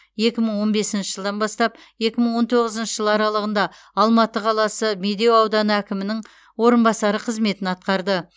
екі мың он бесінші жылдан бастап екі мың он тоғызыншы жыл аралығында алматы қаласы медеу ауданы әкімінің орынбасары қызметін атқарды